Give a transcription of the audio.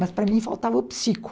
Mas para mim faltava o psico.